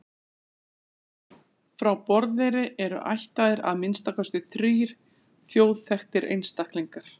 Frá Borðeyri eru ættaðir að minnsta kosti þrír þjóðþekktir einstaklingar.